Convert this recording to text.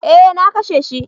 Eh na kashe shi